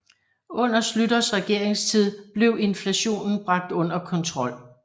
Under Schlüters regeringstid blev inflationen bragt under kontrol